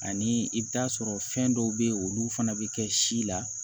Ani i bɛ taa sɔrɔ fɛn dɔw bɛ yen olu fana bɛ kɛ si la